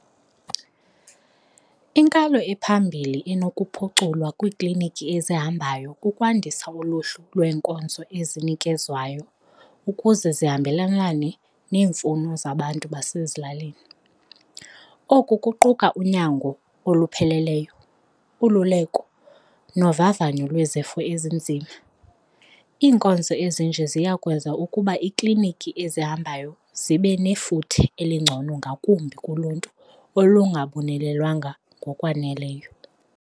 Inkalo ephambili enokuphuculwa kwiiklinikhi ezihambayo kukwandisa uluhlu lwenkonzo ezinikezwayo ukuze zihambelane neemfuno zabantu basezilalini, oku kuquka unyango olupheleleyo, ululeko novavanyo lwezifo ezinzima. Iinkonzo ezinje ziya kwenza ukuba iikliniki ezihambayo zibe nefuthe elingcono ngakumbi kuluntu olungabonelelwanga ngokwaneleyo.